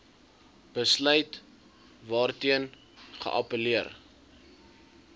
besluit waarteen geappelleer